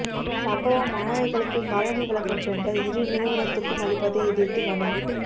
சம்பவம் மாணவர்களுக்கு காலணி வழங்கும் டெண்டர் இரு நிறுவனத்துக்கு அளிப்பதை எதிர்த்து மனு